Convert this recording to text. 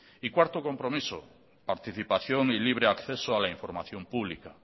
y cuarto compromiso participación y libre acceso a la información pública